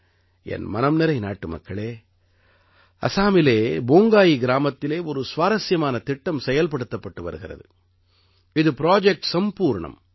என் மனம்நிறை நாட்டுமக்களே அஸாமிலே போங்காயி கிராமத்திலே ஒரு சுவாரசியமான திட்டம் செயல்படுத்தப்பட்டு வருகிறது இது ப்ராஜெக்ட் சம்பூர்ணம்